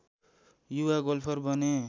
युवा गोल्फर बने